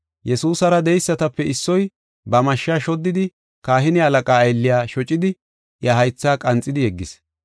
Yesuusara de7eysatape issoy ba mashsha shoddidi kahine halaqaa aylliya shocidi, iya haythaa qanxidi yeggis.